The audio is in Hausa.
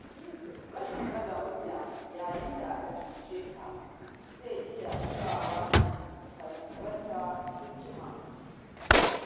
Rashin ɗaga murya yayin da aka cuce ka, zai iya sawa ka rasa haƙƙinka